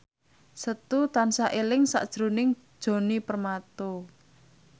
Setu tansah eling sakjroning Djoni Permato